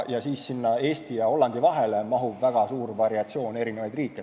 Eesti ja Hollandi vahele mahub väga suur variatsioon riike.